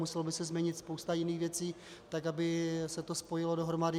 Musela by se změnit spousta jiných věcí tak, aby se to spojilo dohromady.